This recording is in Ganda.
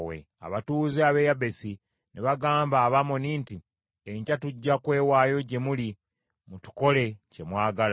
Abatuuze ab’e Yabesi ne bagamba Abamoni nti, “Enkya tujja kwewaayo gye muli, mutukole kye mwagala.”